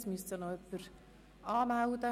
Es müsste sie noch jemand anmelden.